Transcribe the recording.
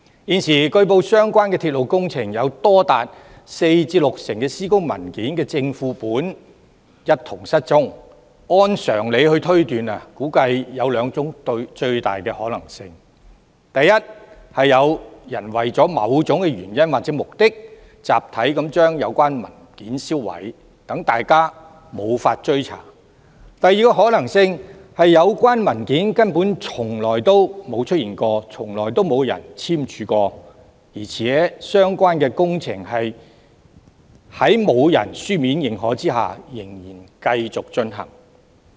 現時據報相關鐵路工程有多達四至六成施工文件的正、副本一同失蹤，按常理推斷估計有兩種最大可能性：第一，有人為了某種原因或目的，集體把有關文件銷毀，讓大家無法追查；第二個可能性是有關文件根本從來沒有出現、沒有人簽署，相關工程在沒有書面認可下仍然繼續進行。